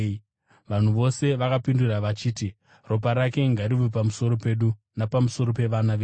Vanhu vose vakapindura vachiti, “Ropa rake ngarive pamusoro pedu napamusoro pevana vedu.”